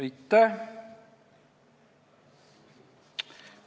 Aitäh!